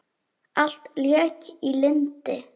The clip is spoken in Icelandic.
Allt lék í lyndi.